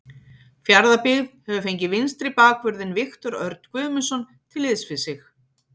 Fjarðabyggð hefur fengið vinstri bakvörðinn Viktor Örn Guðmundsson til liðs við sig.